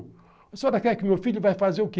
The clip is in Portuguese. O senhor quer que o meu filho vai fazer o quê?